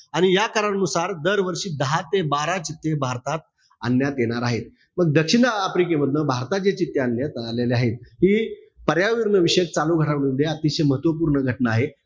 आणि या करारानुसार दरवर्षी दहा ते बारा चित्ते भारतात आणण्यात येणार आहेत. पण दक्षिणआफ्रिकेमधनं भारतात जे चित्ते आणण्यात आले आहे. ते पर्यावरणविषयक चालू घडामोडींमध्ये अतिशय महत्वपूर्ण घटना आहे.